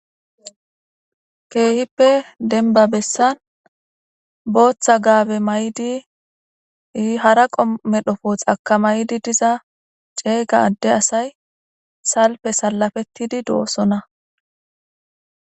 keehippe denba bessan booththa gaabe may'di hara qomo medho fo xaka maydi diza ceeyga adde asay salfe salafettidi doossona